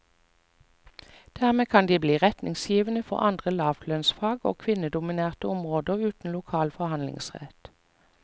Dermed kan de bli retningsgivende for andre lavlønnsfag og kvinnedominerte områder uten lokal forhandlingsrett.